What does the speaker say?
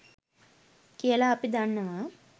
කියලා අපි දන්නවා.